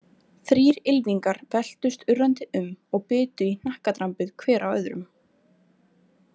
Þrír ylfingar veltust urrandi um og bitu í hnakkadrambið hver á öðrum.